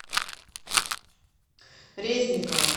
резникова